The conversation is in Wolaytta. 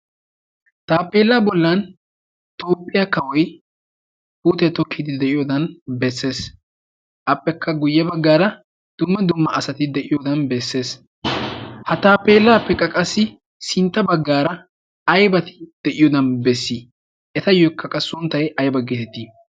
taapeelaa bollan toopphiyaa kawoi huutee tookidi de'iyoodan bessees appekka guyye baggaara dumma dumma asati de'iyoodan beessees ha taapeelaa pe qaqassi sintta baggaara aibati de'iyoodan beessii etayyo kaqa sunttay ay baggeetettii?